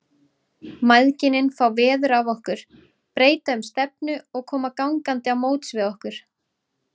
Mæðginin fá veður af okkur, breyta um stefnu og koma gangandi á móts við okkur.